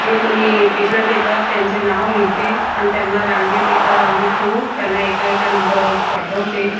जे कोणी पेशंट येतात त्यांचे नाव लिहिते आणि त्यांना रांगेत एका रांगेत ठेवून त्यांना एका एका नंबर वाईज पाठवते.